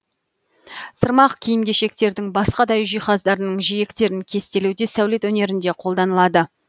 сырмақ киім кешектердің басқа да үй жиһаздарының жиектерін кестелеуде сәулет өнерінде қолданылады